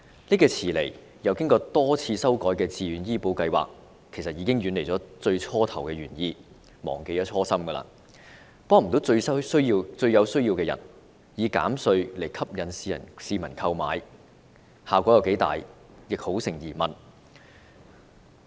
這個遲來並一改再改的自願醫保計劃，其實已經遠離最初的原意、忘記初心，無法幫助最有需要的人，而以扣稅吸引市民投保的成效亦相當成疑。